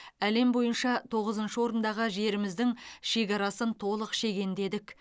әлем бойынша тоғызыншы орындағы жеріміздің шекарасын толық шегендедік